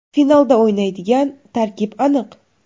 Finalda o‘ynaydigan tarkib aniq.